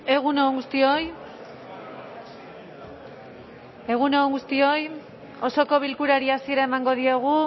egun on guztioi egun on guztioi osoko bilkurari hasiera emango diogu